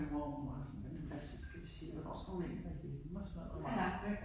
Og min mor hun var meget sådan jamen hvad tid skal vi sige, hvornår skal hun egentlig være hjemme og sådan noget om aftenen ik